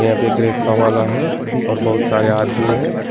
यहां पे एक रिक्शा वाला है और बहुत सारे आदमी है।